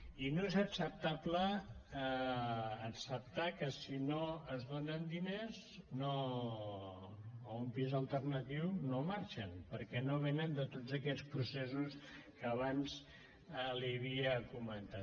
i no és acceptable acceptar que si no es donen diners o un pis alternatiu no marxen perquè no venen de tots aquests processos que abans li havia comentat